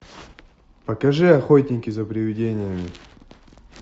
покажи охотники за привидениями